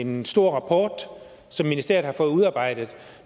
en stor rapport som ministeriet har fået udarbejdet